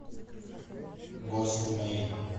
гостмейн